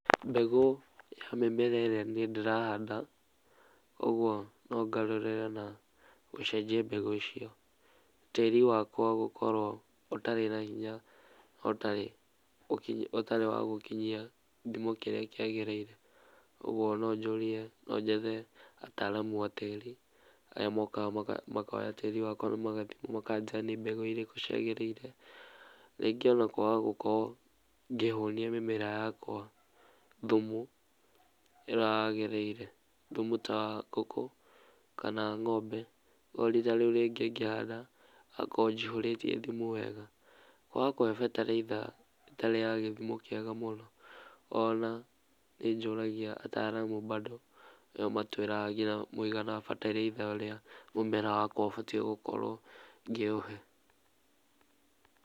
Mbegũ ya mbembe ĩrĩa niĩ ndĩrahanda ũguo nongarũrĩre na gucenjia mbegũ icio. Tĩĩri wakwa gũkorwo ũtarĩ na hinya, ũtarĩ wa gũkinyia gĩthimo kĩrĩa kĩagĩriire. Ũguo nonjũrie, nonjethe ataaramu a tĩĩri arĩa mokaga makoya tĩĩri wakwa makanjĩra nĩ mbegũ irĩkũ ciagĩrĩire. Rĩngĩ ona kwaga gũkorwo ngĩhũnia mĩmera yakwa thumu ũrĩa wagĩrĩire, thumu ta wa ngũkũ kana wa ngombe, no ihinda riũ rĩngĩ ngĩhanda ngakorwo njihũrĩtie thumu wega. Kwaga kũhe bataraitha ĩtarĩ ya gĩthimo kĩega mũno, ona nĩ njũragia ataaramu mbando nĩo matwĩraga nginya mũigana wa bataraitha ĩrĩa mũmera wakwa ũbatiĩ gũkorwo ngĩũhe